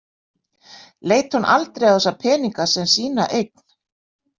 Leit hún aldrei á þessa peninga sem sína eign?